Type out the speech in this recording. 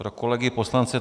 Pro kolegy poslance.